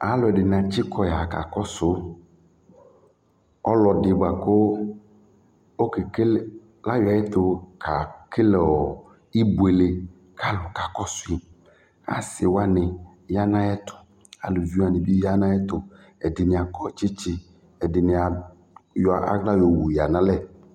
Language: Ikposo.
aluɛdɩnɩ atsikɔ ya kakɔsu ɔlɔdɩ bua kʊ okebuele, ɔkakɔsu yi, asiwanɩ ya nʊ ayɛtʊ, aliviwanɩ bɩ ya nʊ ayɛtʊ, ɛdɩnɩ akɔ tsitsi, ɛdɩnɩ ayɔ aɣla yɔ wu yǝ nʊ alɛ